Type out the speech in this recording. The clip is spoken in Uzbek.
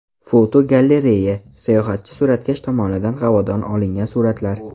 Fotogalereya: Sayohatchi suratkash tomonidan havodan olingan suratlar.